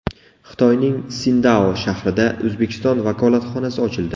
Xitoyning Sindao shahrida O‘zbekiston vakolatxonasi ochildi.